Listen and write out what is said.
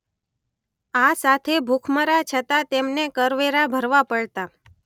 આ સાથે ભૂખમરા છતાં તેમને કર વેરા ભરવા પડતાં.